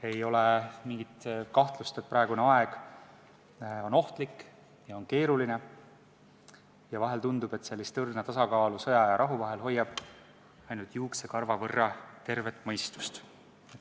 Ei ole mingit kahtlust, et praegune aeg on ohtlik ja keeruline ning vahel tundub, et seda õrna tasakaalu sõja ja rahu vahel hoiab alal ainult juuksekarva võrra tervet mõistust.